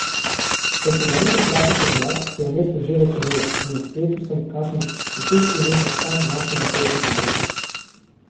Ko sem naredil kratek odmor, se je v mestu že večerilo in na spletu sem kakšnih deset kilometrov stran našel motelček ob reki.